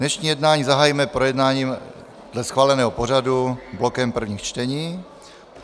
Dnešní jednání zahájíme projednáním dle schváleného pořadu blokem prvních čtení.